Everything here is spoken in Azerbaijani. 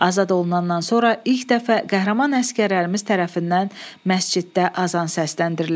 Azad olunandan sonra ilk dəfə qəhrəman əsgərlərimiz tərəfindən məsciddə azan səsləndirilib.